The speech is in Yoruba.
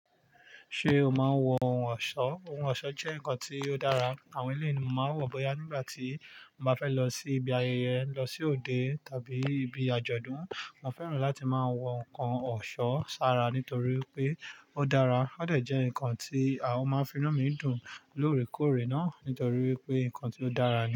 Ṣé o máa ń wọ ohun ọ̀ṣọ́? Ohun ọ̀ṣọ́ jẹ́ nǹkan tí ó dára. Àwọn ilé ni mo máa ń wọ̀ bóyá nígbà tí mo bá fẹ́ lọ sí ibi ayẹyẹ, lọ sí òde tàbí ibi àjọ̀dún. Mo fẹ́ràn láti máa wọ nǹkan ọ̀ṣọ́ sára nítorí pé ó dára. Ó dàjẹ́ nǹkan tí a ó máa ń finú mi dùn lóòrèkóòrè náà nítorí wípé nǹkan tí ó dára ni.